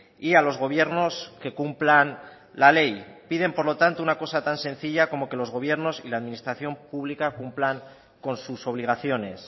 y a los gobiernos que cumplan la ley piden por lo tanto una cosa tan sencilla como que los gobiernos y la administración pública cumplan con sus obligaciones